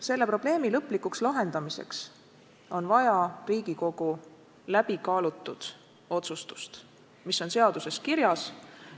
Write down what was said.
Selle probleemi lõplikuks lahendamiseks on vaja Riigikogu läbikaalutud otsustust, mis on seaduses kirjas.